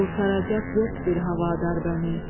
Qurtaracaq yox bir havadar bəni.